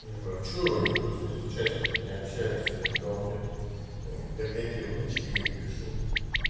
нет ну а почему никто из участников не общается что-то никого нет он говорит так я тебе в личке говорит пишу